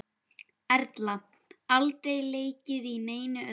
Erla: Aldrei leikið í neinu öðru?